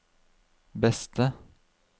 beste